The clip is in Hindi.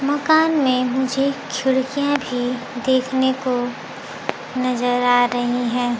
मकान में मुझे खिड़कियां भी देखने को नजर आ रही हैं।